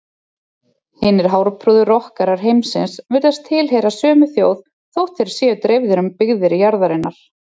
Hinir hárprúðu rokkarar heimsins virðast tilheyra sömu þjóð þótt þeir séu dreifðir um byggðir jarðarinnar.